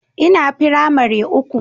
Ina firamare uku